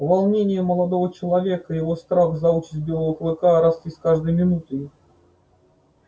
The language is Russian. волнение молодого человека и его страх за участь белого клыка росли с каждой минутой